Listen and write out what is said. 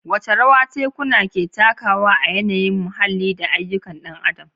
Wace rawa tekuna ke takawa a yanayin muhalli da ayyukan ɗan adam?